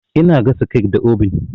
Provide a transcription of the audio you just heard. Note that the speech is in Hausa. Ina gasa kek da obin.